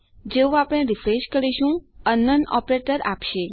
જેવું આપણે રીફ્રેશ કરીશું તે અંકનાઉન ઓપરેટર આપશે